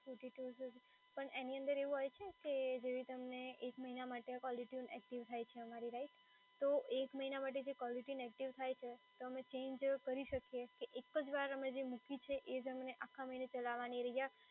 પણ એની અંદર હોવું છે કે જેવી રીતે તમને એક મહિના માટે કોલર ટયુન એક્ટિવ થાય છે અમારી right, તો એક મહિના માટે જે કોલર ટયુન એક્ટિવ થાય છે તો અમે ચેન્જ કરી શકીએ કે એક જ વાર અમે જે મૂકી છે એ જ અમને આખા મહિના ચલાવાની